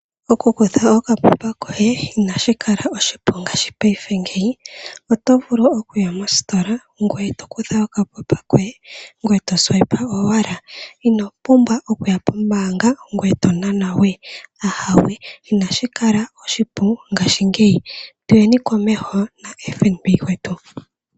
Aakwashigwana ohaya longitha omukalao omupu ngoka gwa ndulukwa kombaanga yotango yopashigwana, opo ya lande iipumbiwa yawo yayooloka moongheshefa. Omukalo nguka omupu nookondo oshoka omuntu ina punbwa iimaliwa yokoonyala.